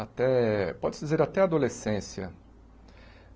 até, pode-se dizer, até a adolescência.